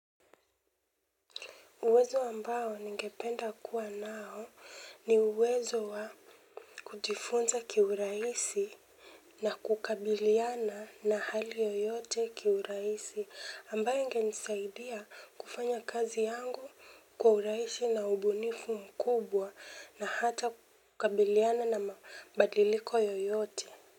Uwezo ambao ningependa kuwa nao ni uwezo wa kujifunza kiurahisi na kukabiliana na hali yoyote kiurahisi ambayo ingenisaidia kufanya kazi yangu kwa urahisi na ubunifu mkubwa na hata kukabiliana na mabadiliko yoyote.